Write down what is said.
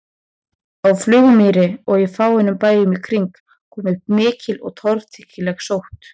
Á Flugumýri og á fáeinum bæjum í kring kom upp mikil og torkennileg sótt.